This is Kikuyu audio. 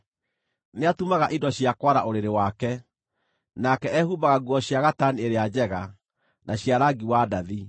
Nĩatumaga indo cia kwara ũrĩrĩ wake; nake ehumbaga nguo cia gatani ĩrĩa njega, na cia rangi wa ndathi.